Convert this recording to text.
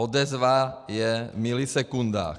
Odezva je v milisekundách.